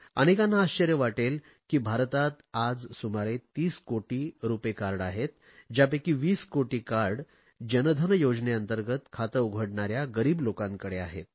अनेकांना आश्चर्य वाटेल की भारतात आज सुमारे 30 कोटी रुपे कार्ड आहेत ज्यापैकी 20 कोटी कार्ड जन धन योजनेंतर्गंत खाते उघडणाऱ्या गरीब लोकांकडे आहेत